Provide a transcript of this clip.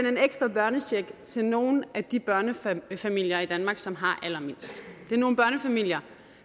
en ekstra børnecheck til nogle af de børnefamilier i danmark som har allermindst det er nogle børnefamilier